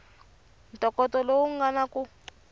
ntokoto lowu nga kona ku